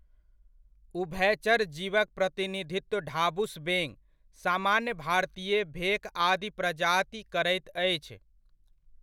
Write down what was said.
उभयचर जीवक प्रतिनिधित्व ढाबुस बेङ, सामान्य भारतीय भेक आदि प्रजाति करैत अछि।